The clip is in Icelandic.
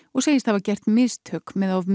og segir hafa gert mistök með of